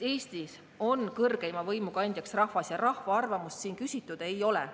Eestis on kõrgeima võimu kandjaks rahvas, aga rahva arvamust siin küsitud ei ole.